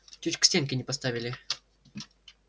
чуть к стенке не поставили